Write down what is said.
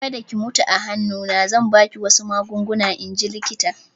Kada ki mutu a hannu na!" Zan ba ki wasu magunguna in ji likitan